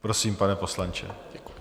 Prosím, pane poslanče.